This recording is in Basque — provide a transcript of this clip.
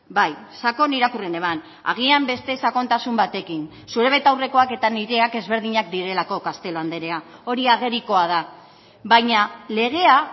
bai sakon irakurri neban agian beste sakontasun batekin zure betaurrekoak eta nireak ezberdinak direlako castelo andrea hori agerikoa da baina legea